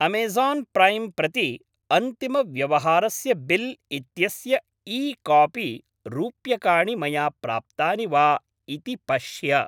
Amazon Prime प्रति अन्तिमव्यवहारस्य bill इत्यस्य ई कापी रूप्यकाणि मया प्राप्तानि वा इति पश्य।